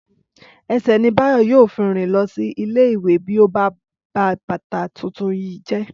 Ẹsẹ̀ ni Báyọ̀ yóò fi rìn lọ sí ilé ìwé bí ó bá ba bàtà tuntun yìí jẹ́